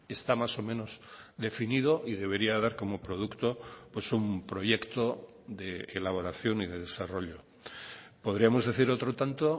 está más o menos definido y debería dar como producto un proyecto de elaboración y de desarrollo podríamos decir otro tanto